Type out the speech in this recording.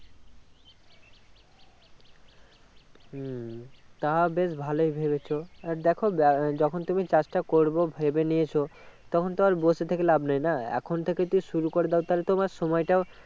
উম তা বেশ ভালোই ভেবেছো আর দেখো আহ যখন তুমি চাষটা করবো ভেবে নিয়েছো তখন তো আর বসে থেকে লাভ নেই না এখন থেকে যদি শুরু করে দাও তাহলে তোমার সময়টাও